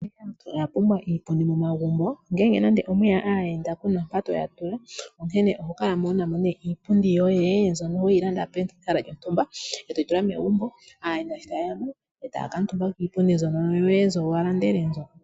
Aantu oyapumbwa iipundi momagumbo ngele nande opweya aayenda kuna mpoka to ya tula onkene oho kala wunamo nee iipundi yoye mbyono weyi landa pehala lyontumba etoyi tula megumbo aantu sho ta yeyamo yo otaya kuutumba kiipundi mbyoka walanda.